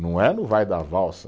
Não é no vai da valsa.